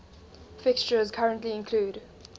fixtures currently include